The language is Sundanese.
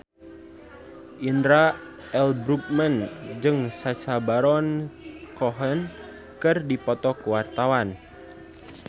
Indra L. Bruggman jeung Sacha Baron Cohen keur dipoto ku wartawan